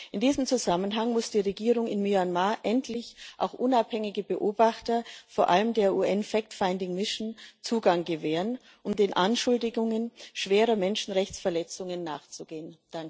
In diesem Zusammenhang muss die Regierung in Myanmar endlich auch unabhängigen Beobachtern, vor allem der UN fact finding mission Zugang gewähren, um den Anschuldigungen schwerer Menschenrechtsverletzungen nachzugehen.